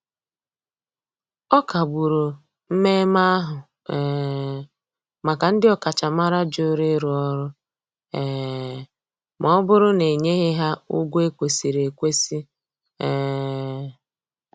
Ọ kagburu mmeme ahu um maka ndi okachamara jụrụ ịrụ ọrụ um ma ọbụrụ na enyeghi ha ụgwọ ekwesiri ekwesi. um